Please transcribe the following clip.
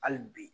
Hali bi